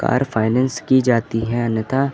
car finance की जाती है अन्यथा--